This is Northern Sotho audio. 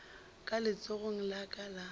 ka letsogong la ka la